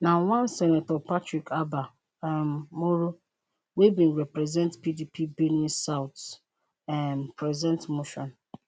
na one senator patrick abba um moro wey bin represent pdp benue south um present motion